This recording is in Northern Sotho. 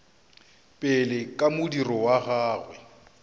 pele ka modiro wa gagwe